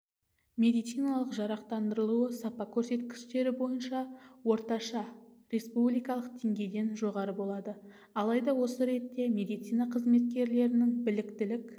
медициналық жарақтандырылуы сапа көрсеткіштері бойынша орташа республикалық деңгейден жоғары болады алайда осы ретте медицина қызметкерлерінің біліктілік